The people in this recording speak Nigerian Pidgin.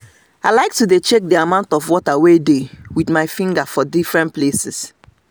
i like to dey check the amount of water wey dey with my finger for defferents places